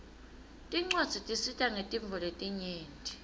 tincwadzi tisita ngetintfo letinyenti